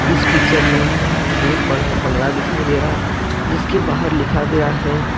इस पिक्चर में बहुत बड़ा बंगला दिखाई दे रहा है जिसके बाहर लिखा गया है।